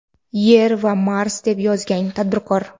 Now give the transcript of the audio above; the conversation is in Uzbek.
Yer va Mars, deb yozgan tadbirkor.